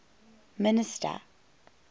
minister